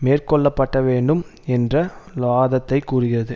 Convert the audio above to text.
மேற்கொள்ளப்பட்டவேண்டும் என்ற வாதத்தைக் கூறியது